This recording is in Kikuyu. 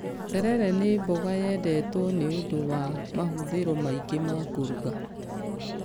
Terere nĩ mboga yendetwo nĩ ũndũ wa mahũthĩro maingĩ ma kũruga